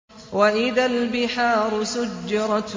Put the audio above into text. وَإِذَا الْبِحَارُ سُجِّرَتْ